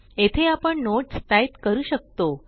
येथे आपण notes type करू शकतो